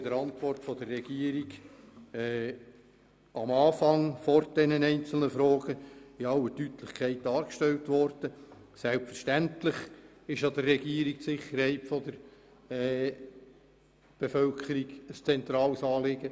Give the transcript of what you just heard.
Wie die Regierung in ihrer Antwort einleitend in aller Deutlichkeit dargestellt hat, ist ihr die Sicherheit der Bevölkerung ein zentrales Anliegen.